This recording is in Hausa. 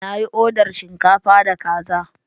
Na yi oda shinkafa da kaza